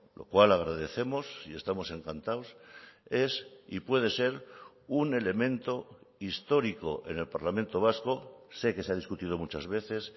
lo cual agradecemos y estamos encantados es y puede ser un elemento histórico en el parlamento vasco sé que se ha discutido muchas veces